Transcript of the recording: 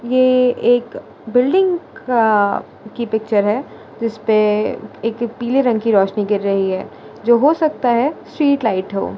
ये एक बिल्डिंग का की पिक्चर है जिसपे एक पीले रंग की रोशनी गिर रही है जो हो सकता है स्ट्रीट लाइट हो।